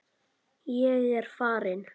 Ég er farinn